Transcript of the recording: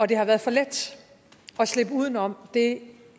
det har været for let at slippe uden om det